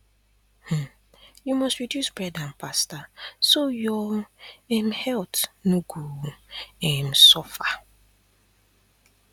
um you must reduce bread and pasta so your um health no go um suffer